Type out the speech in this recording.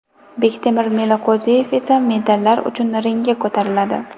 Bektemir Meliqo‘ziyev esa medallar uchun ringga ko‘tariladi.